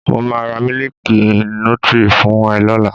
Màá ra Mílíkì nutri fún ẹ lọ́la.